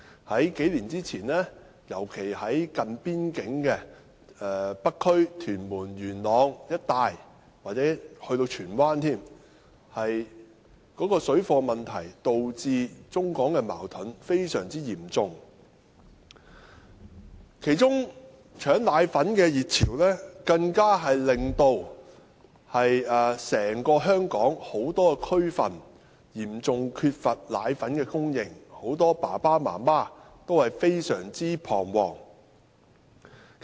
數年前，尤其是近邊境的北區、屯門、元朗一帶，甚至荃灣，水貨問題導致中港矛盾非常嚴重，其中搶奶粉的熱潮更導致香港很多地區嚴重缺乏奶粉供應，令很多父母感到非常彷徨。